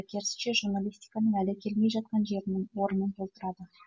керісінше журналистканың әлі келмей жатқан жерінің орнын толтырады